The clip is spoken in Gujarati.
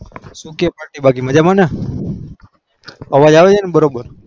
શું કે party બાકી મજામાંને અવાજ આવે છે ને બરાબર